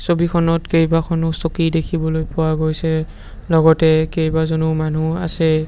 ছবিখনত কেইবাখনো চকী দেখিবলৈ পোৱা গৈছে লগতে কেইবাজনো মানুহ আছে।